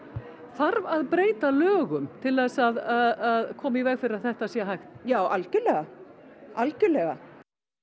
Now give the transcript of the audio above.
þarf að breyta lögum til að koma í veg fyrir að þetta sé hægt já algerlega algerlega